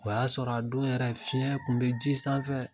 O y'a sɔrɔ a don yɛrɛ fiɲɛ kun bi ji sanfɛ.